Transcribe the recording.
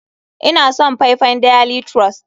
Ina son faifan daily trust.